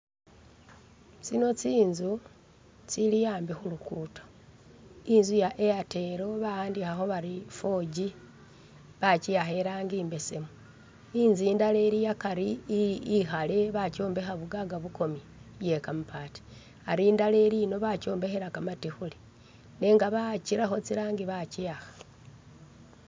Tsino tsili tsinzu tsili ambi khu'luguddo, inzu iya' Airtel ba'andikhakho bari 4G bakyiakha irangi imbesemu inzu indala ili akaari ikhale bakyombekha bukaka bukomye iye kamabaati, Ali indala ilimo bakyombekhela kamatikhuli nenga bakyirakho iranji bakyiwakha